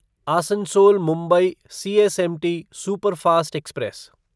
Asansol Mumbai CSMT superfast express